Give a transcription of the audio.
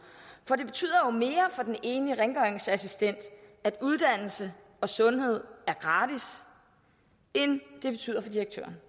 for det betyder jo mere for den enlige rengøringsassistent at uddannelse og sundhed er gratis end det betyder for direktøren